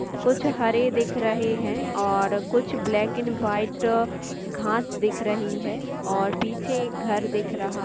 कुछ हरे दिख रहे है और कुछ ब्लैक एंड वाइट घास दिख रही है और पीछे एक घर दिख रहा --